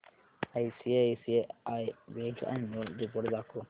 ICICI bank annual report दाखव